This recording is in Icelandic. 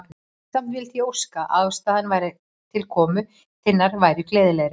Samt vildi ég óska, að ástæðan til komu þinnar væri gleðilegri.